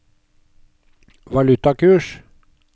valutakurs